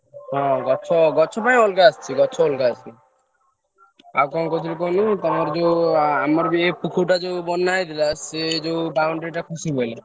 ହଁ ଗଛ ଗଛ ପାଇଁ ଅଲଗା ଆସୁଛି, ଗଛ ଅଲଗା ଆସୁଛି ଆଉ କଣ କହୁଥିଲି କହିଲୁ ତମର ଯୋଉ ଆମର ପୋଖରୀ ଟା ଯୋଉ ବନ ହେଇଥିଲା ସେ ଯୋଉ boundary ଟା ଖସି ପଡିଲା।